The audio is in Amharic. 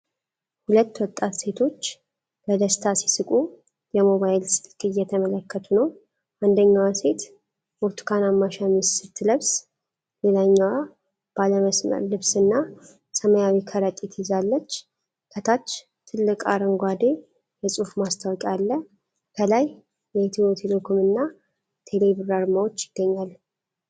ሁለት ወጣት ሴቶች በደስታ ሲስቁ ሞባይል ስልክ እየተመለከቱ ነው። አንደኛዋ ሴት ብርቱካናማ ሸሚዝ ስትለብስ፣ ሌላኛዋ ባለመስመር ልብስና ሰማያዊ ከረጢት ይዛለች። ከታች ትልቅ አረንጓዴ የጽሑፍ ማስታወቂያ አለ። ከላይ የኢትዮ ቴሌኮምና ቴሌብር አርማዎች ይገኛሉ።